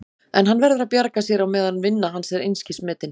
En hann verður að bjarga sér á meðan vinna hans er einskis metin.